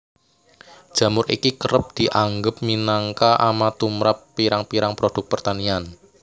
Jamur iki kerep dianggep minangka ama tumrap pirang pirang produk pertanian